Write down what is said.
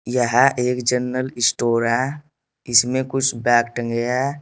यह एक general store है इसमें कुछ बैग टंगे है।